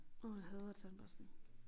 Åh jeg hader tandbørstning